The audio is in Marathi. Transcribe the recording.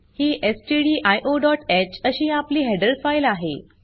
ही stdioह अशी आपली हेडर फाइल आहे